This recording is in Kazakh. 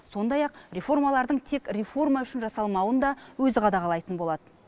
сондай ақ реформалардың тек реформа үшін жасалмауын да өзі қадағалайтын болады